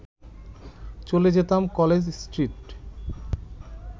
চলে যেতাম College street